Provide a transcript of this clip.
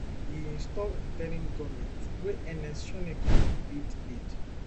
e install interim goment wey ernest shonekan lead lead